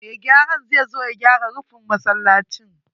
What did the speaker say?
Mai gyaran zai zo ya gyara rufin masallacin.